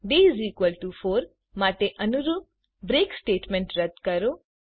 day 4 માટે અનુરૂપ break statement રદ કરો